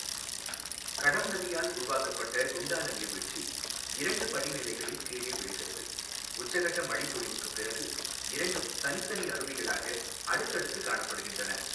கடம் நதியால் உருவாக்கப்பட்ட குண்டால நீர்வீழ்ச்சி இரண்டு படிநிலைகளில் கீழே விழுகிறது, உச்சகட்ட மழை பொழிவுக்குப் பிறகு இரண்டும் தனித்தனி அருவிகளாக அடுத்தடுத்து காணப்படுகின்றன.